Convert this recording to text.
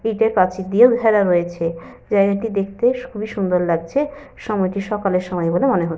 ইঁটের প্রাচীর দিয়ে ঘেরা রয়েছে। জায়গাটি দেখতে খুবই সুন্দর লাগছে। সময়টি সকালের সময় বলে মনে হচ্ছে।